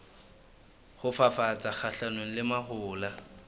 ho fafatsa kgahlanong le mahola